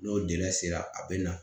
N'o dɛsɛra a bɛ na